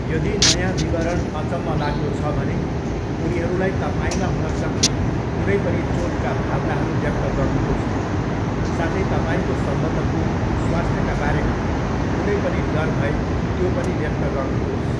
यदि नयाँ विवरण अचम्मलाग्दो छ भने, उनीहरूलाई तपाईँमा हुन सक्ने कुनै पनि चोटका भावनाहरू व्यक्त गर्नुहोस्, साथै तपाईँको सम्बन्धको स्वास्थ्यका बारेमा कुनै पनि डर भए त्यो पनि व्यक्त गर्नुहोस्।